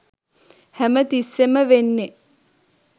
හැමතිස්සේම වෙන්නේ